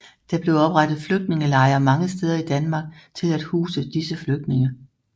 Der blev oprettet flygtningelejre mange steder i Danmark til at huse disse flygtninge